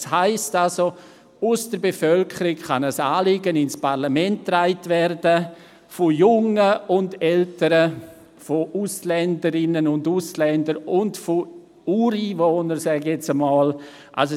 Das heisst, aus der Bevölkerung kann ein Anliegen sowohl von jungen als auch von älteren Personen, von Ausländerinnen und Ausländern als auch von «Ureinwohnern» ins Parlament getragen werden.